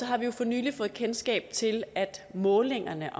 har vi jo for nylig fået kendskab til at målingerne